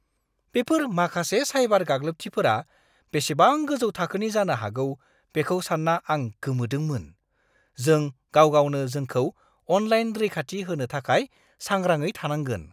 बेफोर माखासे साइबार गाग्लोबथिफोरा बेसेबां गोजौ थाखोनि जानो हागौ बेखौ सानना आं गोमोदोंमोन। जों गाव गावनो जोंखौ अनलाइन रैखाथि होनो थाखाय सांग्राङै थानांगोन।